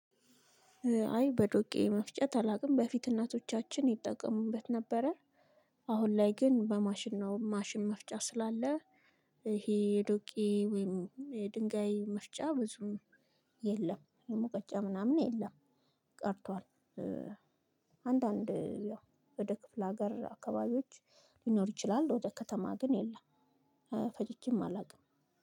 አይ በዶቄ መፍጨት አላውቅም በፊት እናቶቻችን ይጠቀሙበት ነበረ። አሁን ላይ ግን በማሽን ነው ማሽን መፍጫ ስላለ። ይሄ የዶቄ ወይም የድንጋይ መፍጫ ብዙም የለም የሙቀጫ ምናምን የለም። ቀርቷል። አንዳንድ ወደ ክፍለ ሀገር አካባቢዎች ሊኖር ይቺላል። ግን ወደ ከተማ የለም። ፈጭቻም አላቅም።